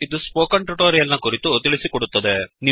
ಇದು ಈ spoken tutorial ಕುರಿತು ತಿಳಿಸಿಕೊಡುತ್ತದೆ